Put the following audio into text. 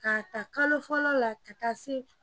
K'a ta kalo fɔlɔ la ka taa se